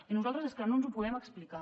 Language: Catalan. i nosaltres és que no ens ho podem explicar